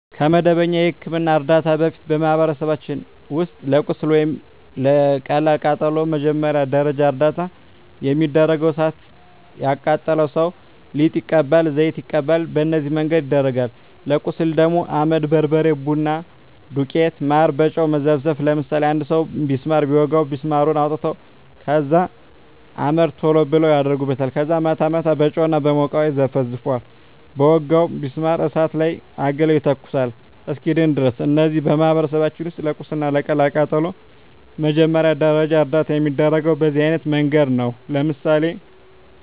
ከመደበኛ የሕክምና ዕርዳታ በፊት፣ በማኅበረሰባችን ውስጥ ለቁስል ወይም ለቀላል ቃጠሎ መጀመሪያ ደረጃ እርዳታ የሚደረገው እሣት የቃጠለው ሠው ሊጥ ይቀባል፤ ዘይት ይቀባል፤ በነዚህ መንገድ ይደረጋል። ለቁስል ደግሞ አመድ፤ በርበሬ፤ ቡና ዱቄት፤ ማር፤ በጨው መዘፍዘፍ፤ ለምሳሌ አንድ ሠው ቢስማር ቢወጋው ቢስማሩን አውጥተው ከዛ አመድ ቶሎ ብለው አደርጉበታል ከዛ ማታ ማታ በጨው እና በሞቀ ውሀ ይዘፈዝፈዋል በወጋው ቢስማር እሳት ላይ አግለው ይተኩሱታል እስኪድን ድረስ። እነዚህ በማኅበረሰባችን ውስጥ ለቁስል ወይም ለቀላል ቃጠሎ መጀመሪያ ደረጃ እርዳታ የሚደረገው በዚህ አይነት መንገድ ነው። ለምሳሌ